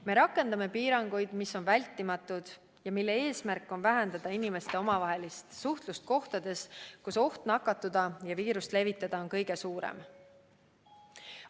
Me rakendame piiranguid, mis on vältimatud ja mille eesmärk on vähendada inimeste omavahelist suhtlust kohtades, kus oht nakatuda ja viirust levitada on kõige suurem.